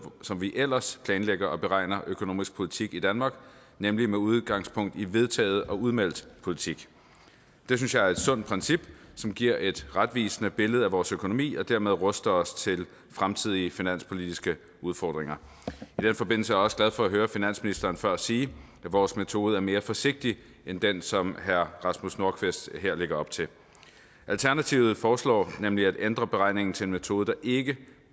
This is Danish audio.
som vi ellers planlægger og beregner økonomisk politik på i danmark nemlig med udgangspunkt i vedtaget og udmeldt politik det synes jeg er et sundt princip som giver et retvisende billede af vores økonomi og dermed ruster os til fremtidige finanspolitiske udfordringer i den forbindelse også glad for at høre finansministeren før sige at vores metode er mere forsigtig end den som herre rasmus nordqvist her lægger op til alternativet foreslår nemlig at ændre beregningen til en metode der ikke